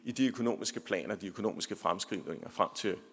i de økonomiske planer de økonomiske fremskrivninger frem til